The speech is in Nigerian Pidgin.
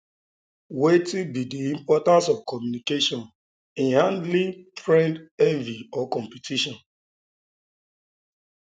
wetin be di importance of communication in handling friend envy or competition